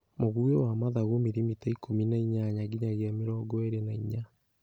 Mũguĩ wa mathagu milimita ikũmi na inyanya nginyagia mĩrongo ĩrĩ na inya